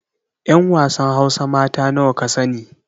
'Yan wasan hausa mata nawa ka sani